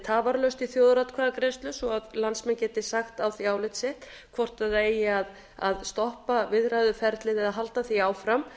tafarlaust í þjóðaratkvæðagreiðslu svo að landsmenn geti sagt á því álit sitt hvort það eigi að stoppa viðræðuferlið eða halda því áfram